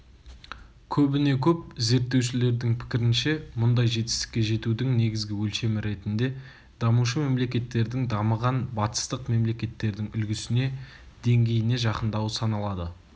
көбіне-көп зерттеушілердің пікірінше мұндай жетістікке жетудің негізгі өлшемі ретінде дамушы мемлекеттердің дамыған батыстық мемлекеттердің үлгісіне деңгейіне жақындауы саналады